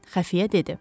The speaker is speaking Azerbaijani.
Xəfiyə dedi: